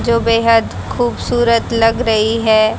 जो बेहद खूबसूरत लग रही है।